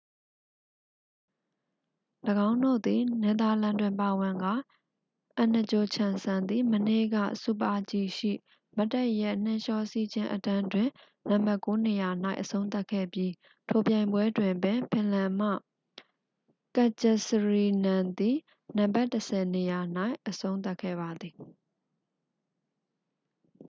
၎င်းတို့သည် နယ်သာလန် တွင်ပါဝင်ကာ အန်နဂျိုချမ်စန် သည် မနေ့က super-g ရှိ မတ်တပ်ရပ်နှင်းလျှောစီးခြင်းအတန်းတွင် နံပါတ်ကိုးနေရာ၌ အဆုံးသတ်ခဲ့ပြီး ထိုပြိုင်ပွဲတွင်ပင် ဖင်လန် မှ ကတ်ဂျစရီနန် သည် နံပါတ်တစ်ဆယ်နေရာ၌ အဆုံးသတ်ခဲ့ပါသည်